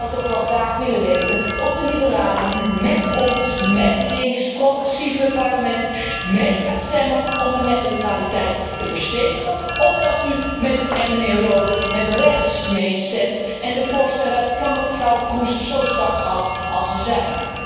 Ik zou toch wel graag willen weten of de liberalen nu met ons, met het links progressieve deel van het Parlement mee gaan stemmen om de netneutraliteit te verstevigen, of dat u met mijnheer Rohde met rechts meestemt en de voorstellen van mevrouw Kroes zo zwak houdt als zij zijn.